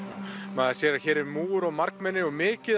maður sér að hér er múgur og margmenni og mikið